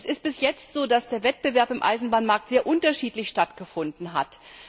Es ist bis jetzt so, dass der Wettbewerb im Eisenbahnmarkt sehr unterschiedlich stattgefunden hat.